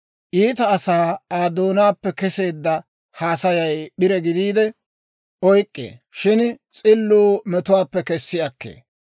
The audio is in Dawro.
Iita asaa Aa doonaappe keseedda haasayay p'ire gidiide oyk'k'ee; shin s'illuu metuwaappe kessi akkee.